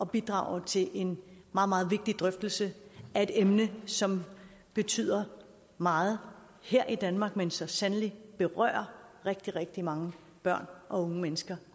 bidrage til en meget meget vigtig drøftelse af et emne som betyder meget her i danmark men som så sandelig berører rigtig rigtig mange børn og unge mennesker